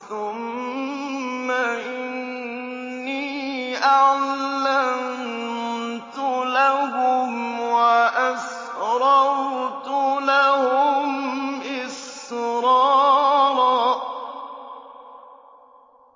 ثُمَّ إِنِّي أَعْلَنتُ لَهُمْ وَأَسْرَرْتُ لَهُمْ إِسْرَارًا